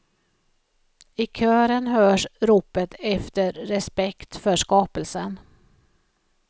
I kören hörs ropet efter respekt för skapelsen.